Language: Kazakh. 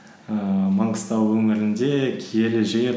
ііі маңғыстау өңірінде киелі жер